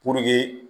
Puruke